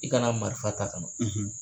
I kana marifa ta